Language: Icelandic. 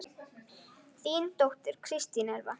Þín dóttir, Kristín Elfa.